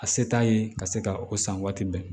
A se t'a ye ka se ka o san waati bɛɛ